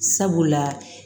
Sabula